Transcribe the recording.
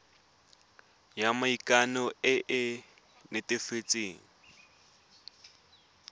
ya maikano e e netefatsang